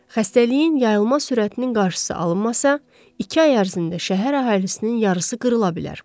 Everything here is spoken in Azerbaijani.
Xəstəliyin yayılma sürətinin qarşısı alınmasa, iki ay ərzində şəhər əhalisinin yarısı qırıla bilər.